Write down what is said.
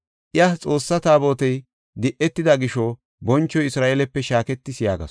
Iya, “Xoossaa Taabotey di7etida gisho bonchoy Isra7eelepe shaaketis” yaagasu.